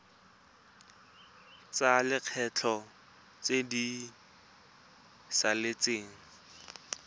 tsa lekgetho tse di saletseng